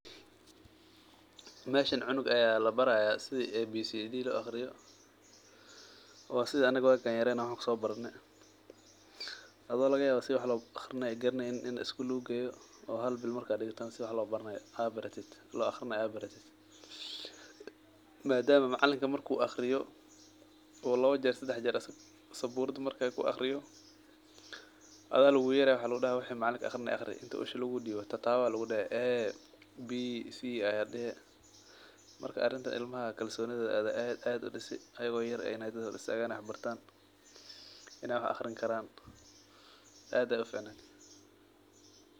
Meshan cunug aya labaraya sithi ABCD lo aqriyo waa sitha anaga waga an yaren wax kuso barane adho laga yawa si wax lo aqrineynin in isgul lagu geyo oo hal bil marka digana si wax lo aqrinaya aad baratid madama macalinka marku aqriyo u lawa jeer sadex jer saburada isaga ku aqriyo adha lagu yereya maxaa lagu dahaya wuxuu macalinka aqrinaye aqri inti usha lagu diwo tatawo aya lagu dehi ABCD aya dehe marka arintan ilma kalsoni aya aad udisi iyaga oo yar yar aya dad horistagan wax bartan in ee wax aqrin karan aad ayey u ficaned.